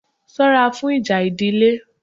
Sọ́ra fún ìjà ìdílé!